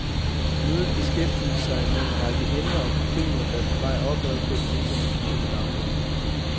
Mødet beskæftigede sig med en række emner og problemer, der er på vej opad på den internationale dagsorden.